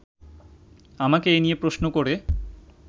আমাকে এ নিয়ে প্রশ্ন করে